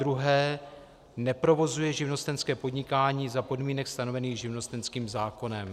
2. neprovozuje živnostenské podnikání za podmínek stanovených živnostenským zákonem.